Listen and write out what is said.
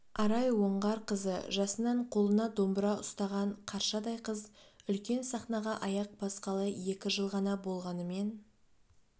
арай оңғарқызы жасынан қолына домбыра ұстаған қаршадай қыз үлкен сахнаға аяқ басқалы екі жыл ғана болғанымен